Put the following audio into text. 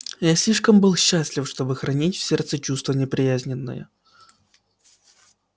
я слишком был счастлив чтоб хранить в сердце чувство неприязненное